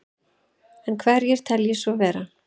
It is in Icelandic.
En hverjir telji svo vera?